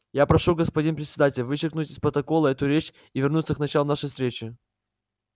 я прошу господин председатель вычеркнуть из протокола эту речь и вернуться к началу нашей встречи